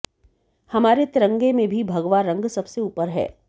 हमारे तिरंगे में भी भगवा रंग सबसे ऊपर है